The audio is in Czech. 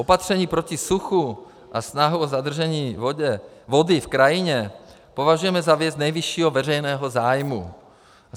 Opatření proti suchu a snahu o zadržení vody v krajině považujeme za věc nejvyššího veřejného zájmu.